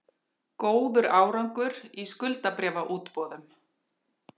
Góður árangur í skuldabréfaútboðum